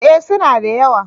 Eh su na da yawa